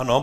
Ano.